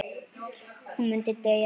Hún myndi deyja ef.?